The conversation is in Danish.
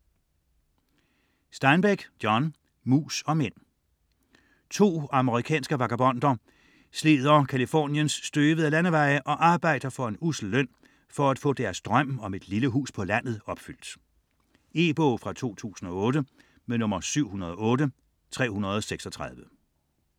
Steinbeck, John: Mus og mænd To amerikanske vagabonder slider Californiens støvede landeveje og arbejder for en ussel løn for at få deres drøm om et lille hus på landet opfyldt. E-bog 708336 2008.